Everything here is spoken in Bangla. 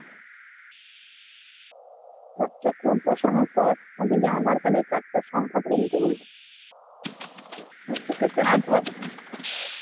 captcha code বসানোর পর দেখবি আধার card এর চারটে সংখ্যা তোকে দিতে বলবে, শেষের চারটে সংখ্যা